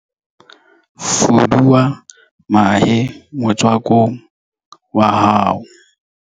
Fuduwa mahe motswakong wa hao.